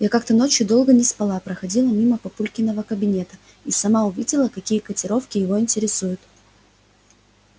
я как-то ночью долго не спала проходила мимо папулькиного кабинета и сама увидела какие котировки его интересуют